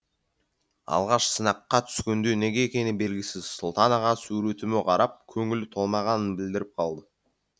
алғаш сынаққа түскенде неге екені белгісіз сұлтан аға суретіме қарап көңілі толмағанын білдіріп қалды